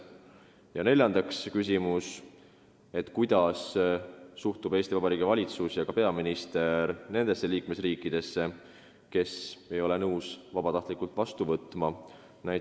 Ja neljas küsimus: kuidas suhtuvad Eesti Vabariigi valitsus ja peaminister nendesse liikmesriikidesse, kes ei ole nõus vabatahtlikult põgenikke vastu võtma?